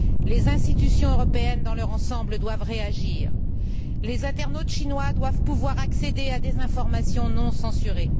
Les institutions européennes, dans leur ensemble, doivent réagir. Les internautes chinois doivent pouvoir accéder à des informations non censurées.